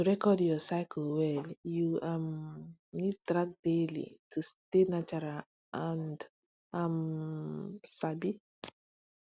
to record your cycle well you um need track daily to stay natural and um sabi